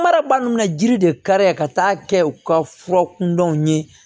Mara ba min bɛ na jiri de ka taa kɛ u ka fura kundɔw ye